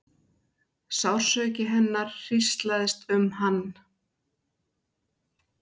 Sársauki hennar hríslaðist um hann.